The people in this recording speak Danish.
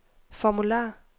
formular